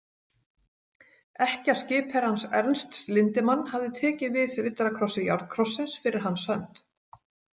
Ekkja skipherrans Ernsts Lindemann hafði tekið við riddarakrossi járnkrossins fyrir hans hönd.